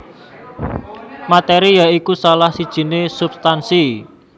Materi ya iku salah sijiné substansi